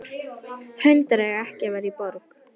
Hundar eiga ekki að vera í borg.